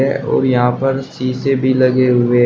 और यहां पर शीशे भी लगे हुए--